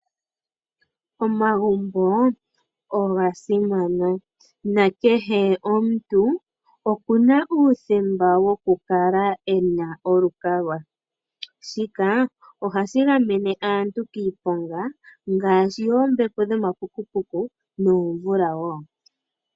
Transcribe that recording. Omagumbo oga simana, na kehe omuntu oku na uuthemba woku kala e na olukalwa, shika oha shi gamene aantu kiiponga ngaashi yoombepo dho mapukupuku noomvula wo.